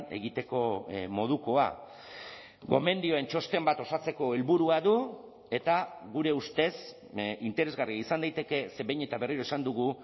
egiteko modukoa gomendioen txosten bat osatzeko helburua du eta gure ustez interesgarria izan daiteke ze behin eta berriro esan dugu